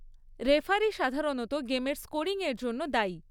Referee সাধারণত গেমের স্কোরিংয়ের জন্য দায়ী।